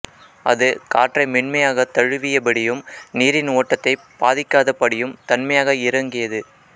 அது காற்றை மென்மையாகத் தழுவியபடியும் நீரின் ஓட்டத்தைப் பாதிக்காதபடியும் தன்மையாக இறங்கியது